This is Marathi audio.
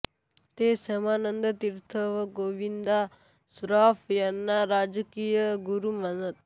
ते रामानंदतीर्थ व गोविंद श्रॉफ यांना राजकीय गुरू मानत